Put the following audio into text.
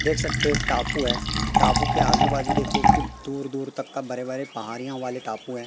देख सकते हो एक टापू है टापू के आजू बाजू देखो कि दूर दूर तक का बड़े बड़े पहाड़ियां वाले टापू हैं।